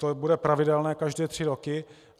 To bude pravidelné každé tři roky.